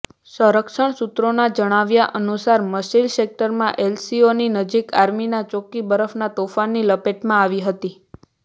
સંરક્ષણ સૂત્રોના જણાવ્યા અનુસાર મચીલ સેકટરમાં એલઓસી નજીક આર્મીની ચોકી બરફના તોફાનની લપેટમાં આવી હતી